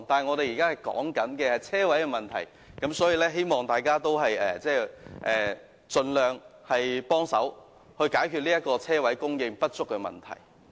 說回泊車位的問題；我希望大家盡量幫忙解決泊車位供應不足的問題。